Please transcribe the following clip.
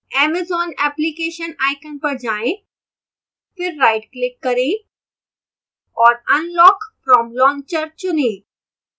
amazon application icon पर जाएं फिर rightclick करें और unlock from launcher चुनें